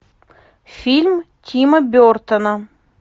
фильм тима бертона